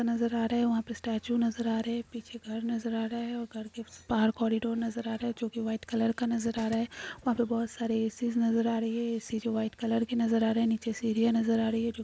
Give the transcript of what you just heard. नज़र आ रहा है वहां पर स्टेच्यू नज़र आ रहा है पीछे घर नज़र आ रहा है और घर के बाहर कोरिडोर नज़र आ रहा है जो व्हाइट कलर का नज़र आ रहा है और यहाँ पर बहुत सारे एसी नज़र आ रहा है एसी जो व्हाइट कलर की नज़र आ रहा है नीचे सीढिया नज़र आ रही है जो--